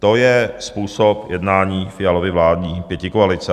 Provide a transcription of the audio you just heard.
To je způsob jednání Fialovy vládní pětikoalice.